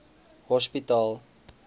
hospitaal